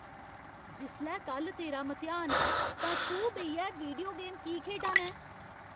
जिसलै कल्ल तेरा मतेहान ऐ, तां तूं बेहियै वीडियो गेम की खेढा ना ऐं?